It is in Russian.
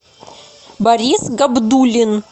борис габдуллин